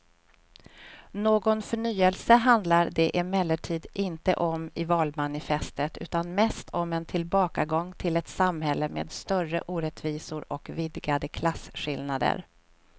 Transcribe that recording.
Någon förnyelse handlar det emellertid inte om i valmanifestet utan mest om en tillbakagång till ett samhälle med större orättvisor och vidgade klasskillnader.